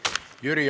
Suur-suur aitäh!